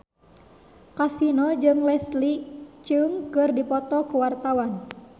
Kasino jeung Leslie Cheung keur dipoto ku wartawan